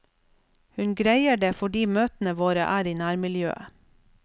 Hun greier det fordi møtene våre er i nærmiljøet.